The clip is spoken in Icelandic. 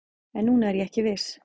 En núna er ég ekki viss